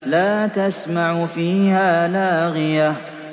لَّا تَسْمَعُ فِيهَا لَاغِيَةً